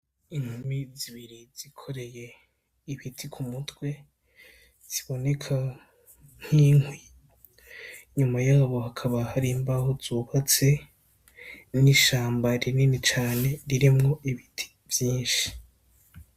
Inkumi zibiri zikoreye ibiti ku mutwe ziboneka nk'inkwi, nyuma yabo hakaba hari imbaho zubatse, n'ishamba rinini cane ririmwo ibiti vyinshi.